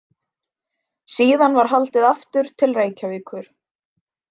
Síðan var haldið aftur til Reykjavíkur.